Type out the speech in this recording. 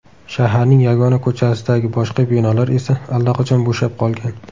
Shaharning yagona ko‘chasidagi boshqa binolar esa allaqachon bo‘shab qolgan.